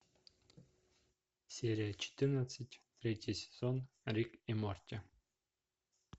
серия четырнадцать третий сезон рик и морти